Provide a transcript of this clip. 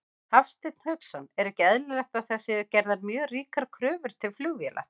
Hafsteinn Hauksson: Er ekki eðlilegt að það séu gerðar mjög ríkar kröfur til flugvéla?